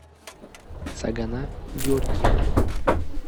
цагана георгиевна